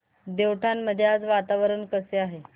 देवठाण मध्ये आज वातावरण कसे आहे